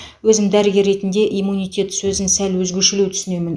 өзім дәрігер ретінде иммунитет сөзін сәл өзгешелеу түсінемін